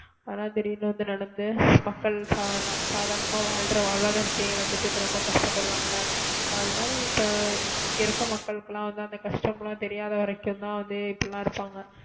நடந்து மக்கள் சாகலாம் சாதாரணமா வாழ்ற வாழ்வாதாரத்தை இழந்துட்டு இப்ப ரொம்ப கஷ்டப்படுறாங்க இல்ல அது மாதிரி இப்ப இருக்கிற மக்களுக்கெல்லாம் வந்து அந்த கஷ்டம் எல்லாம் தெரியாத வரைக்கும்தான் வந்து இப்படி எல்லாம் இருப்பாங்க